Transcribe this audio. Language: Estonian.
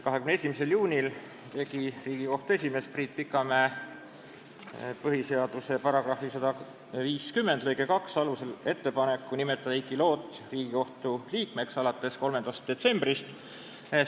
21. juunil tegi Riigikohtu esimees Priit Pikamäe põhiseaduse § 150 lõike 2 alusel ettepaneku nimetada Heiki Loot alates 3. detsembrist s.